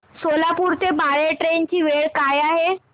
सोलापूर ते बाळे ट्रेन ची वेळ काय आहे